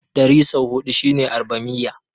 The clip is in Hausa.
Ɗari sau huɗu shine Arbamiyya.